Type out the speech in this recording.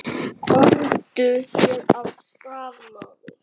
Komdu þér af stað, maður!